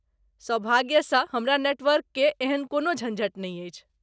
सौभाग्य स हमरा नेटवर्क के एहन कोनो झंझट नहि अछि।